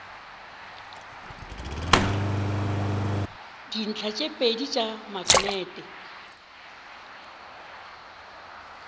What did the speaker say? dintlha tše pedi tša maknete